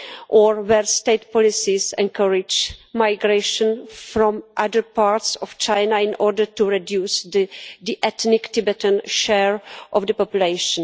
or where state policies encourage migration from other parts of China in order to reduce the ethnic Tibetan share of the population.